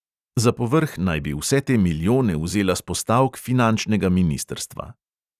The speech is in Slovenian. Za povrh naj bi vse te milijone vzela s postavk finančnega ministrstva.